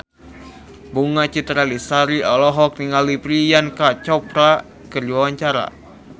Bunga Citra Lestari olohok ningali Priyanka Chopra keur diwawancara